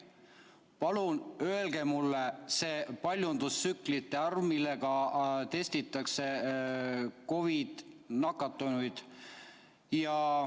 Palun öelge mulle see paljundustsüklite arv, millega testitakse COVID‑nakatunuid.